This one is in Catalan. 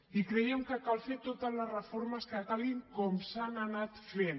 i creiem que cal fer totes les reformes que calguin com s’han anat fent